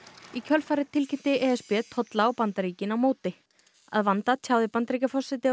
í kjölfarið tilkynnti e s b tolla á Bandaríkin á móti að vanda tjáði Bandaríkjaforseti